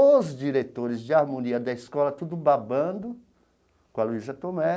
Os diretores de harmonia da escola tudo babando com a Luíza Tomé.